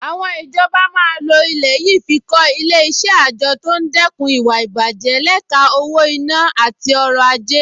Àwọn ìjọba máa lo ilẹ̀ yìí fi kọ́ Ilé-iṣẹ́ àjọ tó ń dẹ́kun ìwà ìbàjẹ́ lẹ́ka owó-ìná àti ọrọ̀-ajé